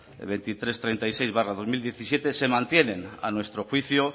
dos mil trescientos treinta y seis barra dos mil diecisiete se mantienen a nuestro juicio